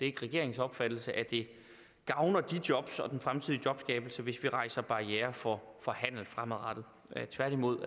ikke regeringens opfattelse at det gavner de jobs og den fremtidige jobskabelse hvis vi rejser barrierer for handel fremadrettet tværtimod